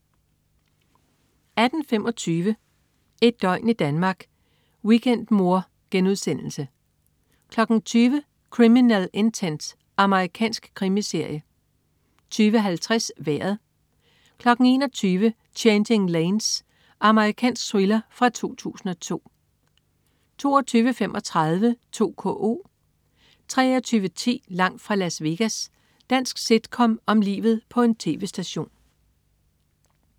18.25 Et døgn i Danmark: Weekendmor* 20.00 Criminal Intent. Amerikansk krimiserie 20.50 Vejret 21.00 Changing Lanes. Amerikansk thriller fra 2002 22.35 2KO 23.10 Langt fra Las Vegas. Dansk sitcom om livet på en tv-station